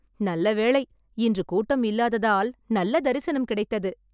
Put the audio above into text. நல்லவேளை, இன்று கூட்டம் இல்லாததால் நல்ல தரிசனம் கிடைத்தது